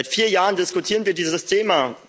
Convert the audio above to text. Seit vier Jahren diskutieren wir dieses Thema.